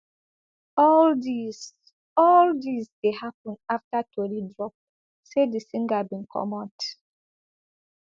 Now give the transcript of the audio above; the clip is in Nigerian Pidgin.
all dis all dis dey happun afta tori drop say di singer bin comot